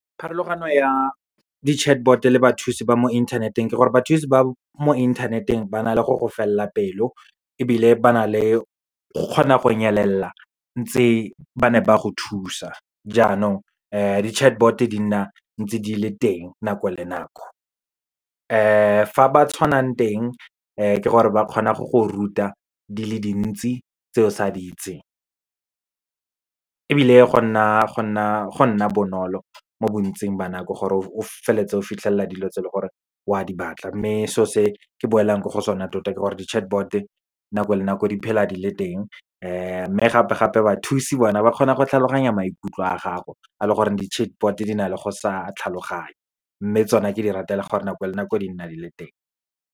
Pharologano ya di-chatbot le bathusi ba mo inthaneteng ke gore, bathusi ba mo internet-eng ba na le go go felela pelo, ebile ba na le kgona go nyelela, ntse ba ne ba go thusa. Jaanong, di-chatbot di nna ntse di le teng nako le nako. Fa ba tshwanang teng, ke gore ba kgona go go ruta di le dintsi tse o sa di itseng, ebile go nna bonolo mo bontsing ba nako gore, o feleletse o fitlhelela dilo tse le gore wa di batla. Mme so se ke boelang ko go sone, tota ke gore di-chatbot nako le nako di phela di le teng, mme gape-gape bathusi bona ba kgona go tlhaloganya maikutlo a gago, a le gore di-chatbot di na le go sa tlhaloganye, mme tsona ke di ratela gore nako le nako di nna di le teng.